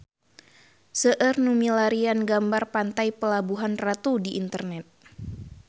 Seueur nu milarian gambar Pantai Pelabuhan Ratu di internet